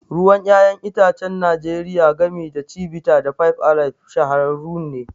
Ruwan 'ya'yan itacen Najeriya, gami da Chivita da Five Alive, shahararrun ne.